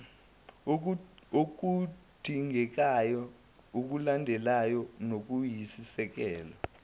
okuyodingeka lulandelwe noluyisisekelo